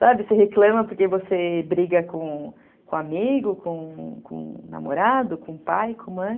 Sabe, você reclama porque você briga com com amigo, com namorado, com pai, com mãe.